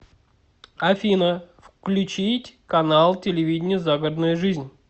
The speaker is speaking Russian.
афина включить канал телевидения загородная жизнь